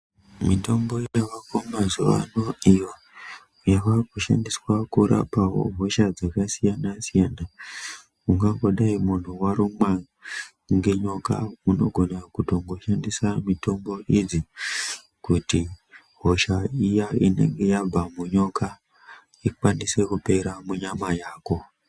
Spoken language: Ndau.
Mitombo yavako mazuva ano iyo yavakushandiswa kurapa hosha dzakasiyana siyana .Kuda kudai muntu warumwa ngenyoka unogona kutoshandisa mitombo idzi kuti hosha iya inenge yabva munyoka ikwanise kupera munyama yako .